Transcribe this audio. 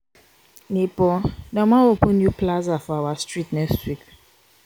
nebor dem wan open new plaza for our street next week.